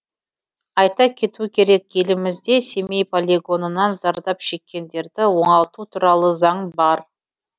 айта кету керек елімізде семей полигонынан зардап шеккендерді оңалту туралы заң бар